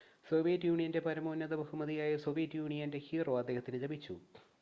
"Soviet യൂണിയന്റെ പരമോന്നത ബഹുമതിയായ "സോവിയറ്റ് യൂണിയന്റെ ഹീറോ" അദ്ദേഹത്തിന് ലഭിച്ചു.